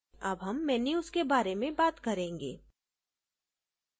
अब हम menus के बारे में बात करेंगे